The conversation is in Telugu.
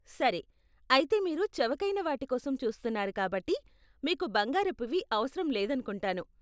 సరే, అయితే మీరు చవకైన వాటి కోసం చూస్తున్నారు కాబట్టి, మీకు బంగారపువి అవసరం లేదనుకుంటాను.